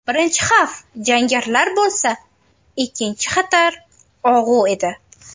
Birinchi xavf jangarilar bo‘lsa, ikkinchi xatar og‘u edi.